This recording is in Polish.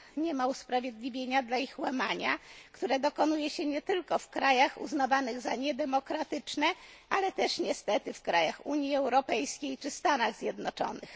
Nie ma usprawiedliwienia dla ich łamania, które odbywa się nie tylko w krajach uznawanych za niedemokratyczne, ale też niestety w państwach Unii Europejskiej czy w Stanach Zjednoczonych.